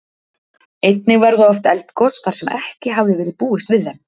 Einnig verða oft eldgos, þar sem ekki hafði verið búist við þeim.